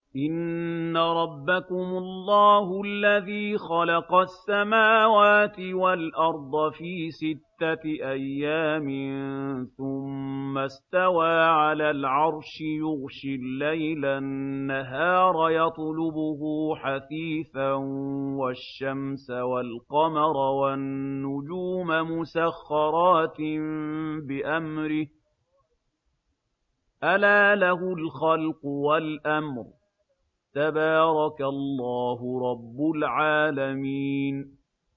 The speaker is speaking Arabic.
إِنَّ رَبَّكُمُ اللَّهُ الَّذِي خَلَقَ السَّمَاوَاتِ وَالْأَرْضَ فِي سِتَّةِ أَيَّامٍ ثُمَّ اسْتَوَىٰ عَلَى الْعَرْشِ يُغْشِي اللَّيْلَ النَّهَارَ يَطْلُبُهُ حَثِيثًا وَالشَّمْسَ وَالْقَمَرَ وَالنُّجُومَ مُسَخَّرَاتٍ بِأَمْرِهِ ۗ أَلَا لَهُ الْخَلْقُ وَالْأَمْرُ ۗ تَبَارَكَ اللَّهُ رَبُّ الْعَالَمِينَ